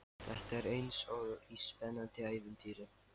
Þetta er eins og í spennandi ævintýri.